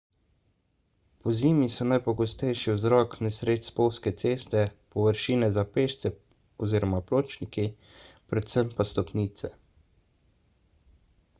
pozimi so najpogostejši vzrok nesreč spolzke ceste površine za pešce pločniki predvsem pa stopnice